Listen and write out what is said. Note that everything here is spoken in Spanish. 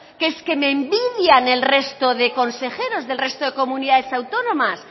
que es que me envidian el resto de consejeros del resto de comunidades autónomas